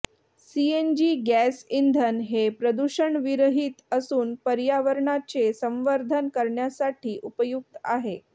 CNG gas इंधन हे प्रदूषणविरहित असून पर्यावरणाचे संवर्धन करण्यासाठी उपयुक्त आहे